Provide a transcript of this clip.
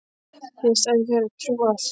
Ég hafði staðið í þeirri trú að